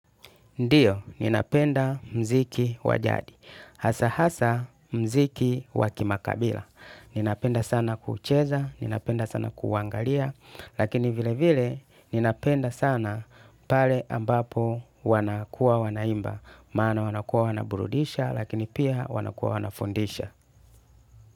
Ndiyo, ninapenda mziki wajadi. Hasa hasa mziki wakimakabila. Ninapenda sana kucheza, ninapenda sana kuangalia. Lakini vile vile, ninapenda sana pale ambapo wanakuwa wanaimba. Maana wanakuwa wanaburudisha, lakini pia wanakuwa wanafundisha.